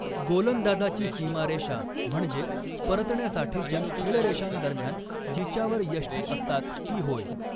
गोलंदाजाची सीमारेषा, म्हणजे परतण्यासाठीच्या खेळरेषांदरम्यान जिच्यावर यष्टी असतात ती होय.